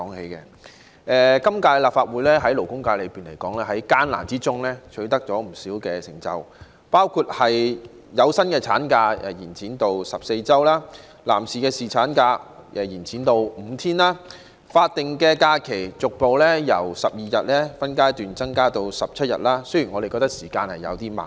在艱難之中，本屆立法會在勞工權益方面取得不少成就，包括延長有薪產假至14周、延長男士侍產假至5天，並將法定假日由12天逐步分階段增至17天——雖然我們覺得時間稍長。